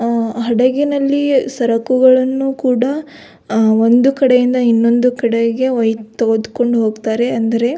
ಆ ಹಡಗಿನಲ್ಲಿ ಸರಕುಗಳನ್ನು ಕೂಡ ಒಂದು ಕಡೆಯಿಂದ ಇನ್ನೊಂಡು ಕಡೆಗೆ ಒಯ್ದು ತೆಗೆದುಕೊಂಡು ಹೋಗುತ್ತಾರೆ ಅಂದರೆ.